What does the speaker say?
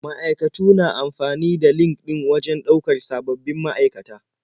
Ma'aikatu na amfani da LinkedIn wajen ɗaukar sababbin ma'aikata.